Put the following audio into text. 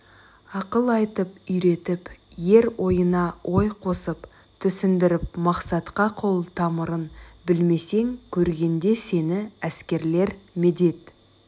ақыл айтып үйретіп ер ойына ой қосып түсіндіріп мақсатқа қол тамырын білмесең көргенде сені әскерлер медет